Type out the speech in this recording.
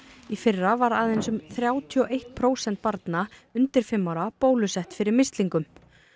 í fyrra var aðeins um þrjátíu og eitt prósent barna undir fimm ára bólusett fyrir mislingum